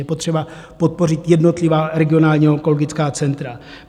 Je potřeba podpořit jednotlivá regionální onkologická centra.